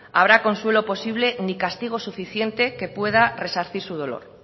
habrá consuelo posible ni castigo suficiente que pueda resarcir su dolor